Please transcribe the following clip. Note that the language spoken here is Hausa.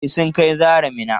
E, sun kai Zahra Minna.